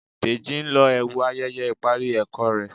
Deji n ló ẹwu ayẹyẹ ipari ẹkọ rẹ